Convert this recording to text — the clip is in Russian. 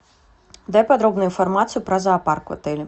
дай подробную информацию про зоопарк в отеле